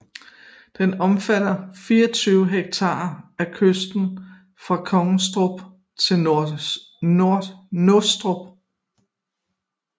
Den omfatter 24 ha af kysten fra Kongstrup til Nostrup